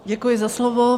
Děkuji za slovo.